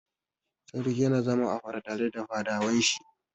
Sarki yana zama a fada tare da fadawan shi.